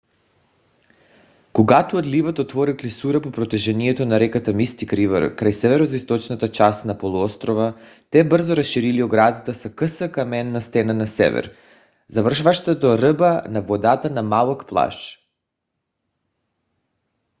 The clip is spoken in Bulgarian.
когато отливът отворил клисура по протежението на реката мистик ривър край североизточната част на полуострова те бързо разширили оградата с къса каменна стена на север завършваща до ръба на водата на малък плаж